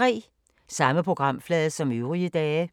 Samme programflade som øvrige dage